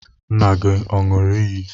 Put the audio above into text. Nna gị ọ̀ ṅụrụ iyi?